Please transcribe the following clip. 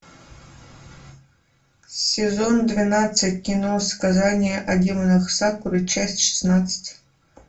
сезон двенадцать кино сказания о демонах сакуры часть шестнадцать